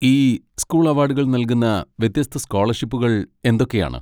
ഈ സ്കൂൾ അവാഡുകൾ നൽകുന്ന വ്യത്യസ്ത സ്കോളർഷിപ്പുകൾ എന്തൊക്കെയാണ്?